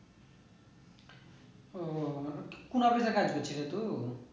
ও কোন office এ কাজ করছিলে তু?